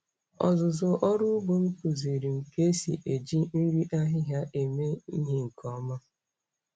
Ọzụzụ ọrụ ugbo m kụziiri m ka esi eji nri ahịhịa eme ihe nke ọma.